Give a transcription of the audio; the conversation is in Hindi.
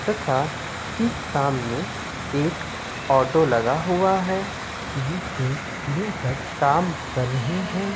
तथा ठीक सामने एक ऑटो लगा हुआ है जिसपे दो शख्स काम कर रहे हैं।